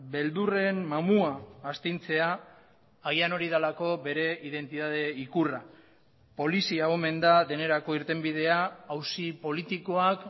beldurren mamua astintzea agian hori delako bere identitate ikurra polizia omen da denerako irtenbidea auzi politikoak